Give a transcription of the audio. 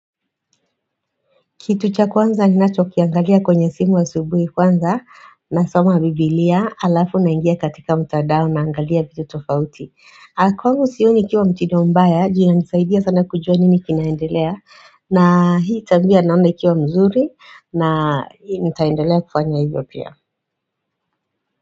Kitu cha kwanza ninacho kiangalia kwenye simu asubuhi kwanza nasoma biblia alafu naingia katika mtandao naangalia vitu tofauti. Aaaaanh kwangu sioni ikiwa mtindo mbaya juu inanisaidia sana kujua nini kinaendelea na hii tabia naona ikiwa mzuri na hii nitaendelea kufanya hivyo pia.